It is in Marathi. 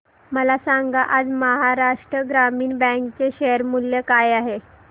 मला सांगा आज महाराष्ट्र ग्रामीण बँक चे शेअर मूल्य काय आहे